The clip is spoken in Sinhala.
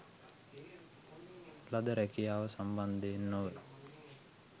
ලද රැකියාව සම්බන්ධයෙන් නොව